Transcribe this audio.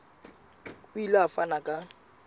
o ile a fana ka